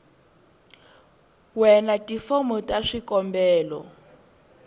we na tifomo ta swikombelo